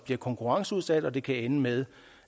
blive konkurrenceudsat og hvor det kan ende med